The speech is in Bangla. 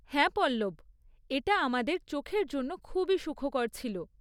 হ্যাঁ পল্লব! এটা আমাদের চোখের জন্য খুবই সুখকর ছিল।